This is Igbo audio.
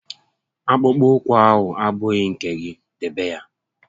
Akpụkpọ ụkwụ ahụ abụghị nke gị, debe ya!